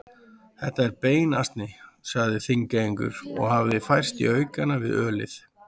Þetta er beinasni, sagði Þingeyingur og hafði færst í aukana við ölið.